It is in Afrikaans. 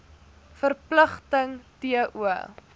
verpligting t o